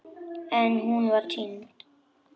En hún var týnd.